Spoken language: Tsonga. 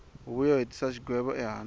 huvo yo hetisa xigwevo ehandle